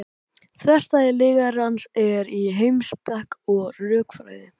þverstæða lygarans er í heimspeki og rökfræði